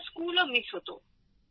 আমার স্কুলও মিস হতো